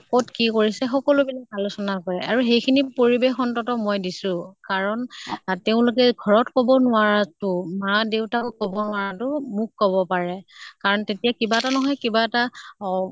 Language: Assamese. কʼত কি কৰিছে সকলো বিলাক আলোচনা কৰে। আৰু সেই খিনি পৰিবেশ অন্তত মই দিছো। কাৰণ তেওঁলোকে ঘৰত কʼব নোৱাৰা তʼ মা দেউতাকো কʼব নোৱাৰাতো মোক কʼব পাৰে। কাৰণ তেতিয়া কিবা এটা নহয় কিবা এটা অহ